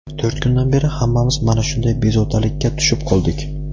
to‘rt kundan beri hammamiz mana shunday bezovtalikka tushib qoldik.